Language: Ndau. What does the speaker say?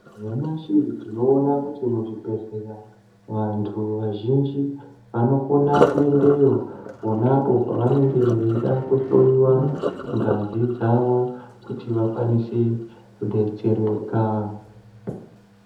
Nyamashi tinoona kuti muzvibhehlera vantu vazhinji vanokona kuendeyo ponapo pavanenge veida kuhloyiwa ngazi dzavo kuti vakwanise kudetsereka.